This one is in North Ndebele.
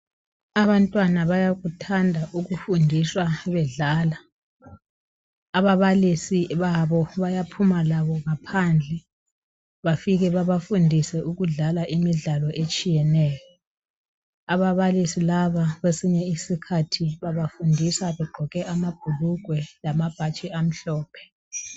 Abantwana bayakuthanda ukufundiswa bedlala. Ababalisi babo bayaphuma labo ngaphandle. Bafike babafundise ukudlala imidlalo etshiyeneyo. Ababalisi laba kwesinye isikhathi babafundisa begqoke amabhulugwe lamabhatshi amhlophe.